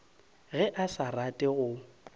ge a sa rate go